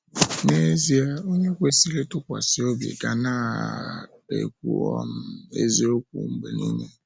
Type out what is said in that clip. N’ezie, onye kwesịrị ịtụkwasị obi ga na um - ekwu um eziokwu mgbe nile.